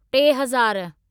टेहज़ार